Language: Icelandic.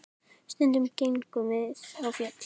Stundum gengum við á fjöll.